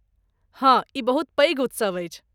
हँ, ई बहुत पैघ उत्सव अछि।